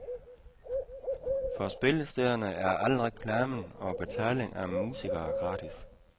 For spillestederne er al reklamen og betaling af musikere gratis.